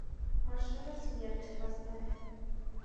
машина смерти поставь